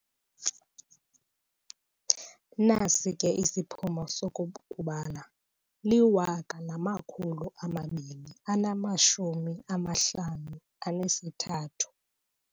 Nasi ke isiphumo soku kubala liwaka namakhulu amabini anamashumi amahlanu anesithathu.